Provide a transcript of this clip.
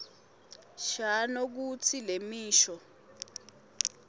shano kutsi lemisho